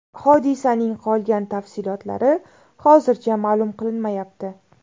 Hodisaning qolgan tafsilotlari hozircha ma’lum qilinmayapti.